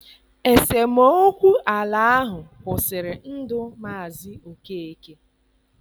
Esemokwu ala ahụ kwụsịrị ndụ Mazi Okeke.